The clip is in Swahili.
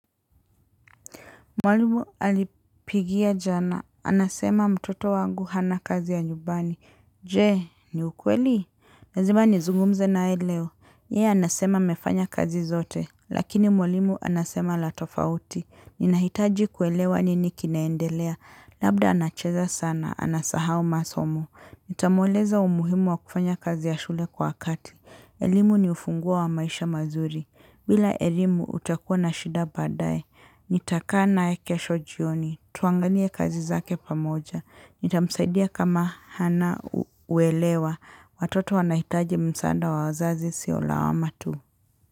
Mwalimu alipigia jana. Anasema mtoto wangu hana kazi ya nyumbani. Jee, ni ukweli? Lazima nizungumze nae leo. Ye, anasema mefanya kazi zote. Lakini mwalimu anasema la tofauti. Ninahitaji kuelewa nini kinaendelea. Labda anacheza sana. Anasahau masomo. Nitamueleza umuhimu wa kufanya kazi ya shule kwa wakati. Elimu ni ufungua wa maisha mazuri. Bila elimu utakuwa na shida badaye. Nita kaa naye kesho jioni. Tuangalie kazi zake pamoja. Nitamsaidia kama hana uelewa. Watoto wanahitaji msaada wa wazazi sio lawama tu.